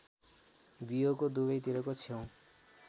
बियोको दुबैतिरको छेउ